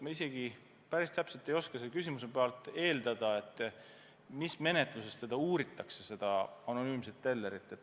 Ma ei oska selle küsimuse pinnalt eeldada, mis menetluses seda anonüümset tellerit uuritakse.